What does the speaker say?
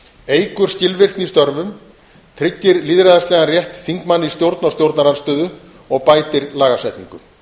eykur skilvirkni í störfum tryggir lýðræðislegan rétt þingmanna í stjórn og stjórnarandstöðu og bætir lagasetningu